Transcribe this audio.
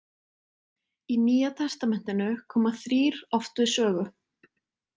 Í Nýja testamentinu koma þrír oft við sögu.